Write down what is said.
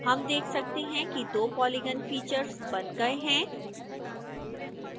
हम देख सकते हैं कि दो पॉलीगन फीचर्स बन गए हैं